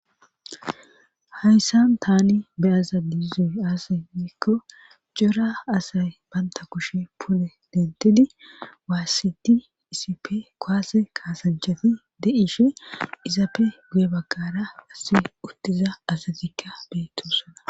hayssan tani beyaza diizoy asay yiikko cora asay baynta kushe pune dentidi waassidi isipe koase kaasanchafi de7ishe izaape guye bagqara asi uttiza asatikka beetossana